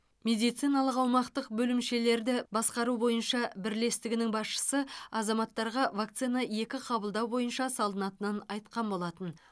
медициналық аумақтық бөлімшелерді басқару бойынша бірлестігінің басшысы азаматтарға вакцина екі қабылдау бойынша салынатынын айтқан болатын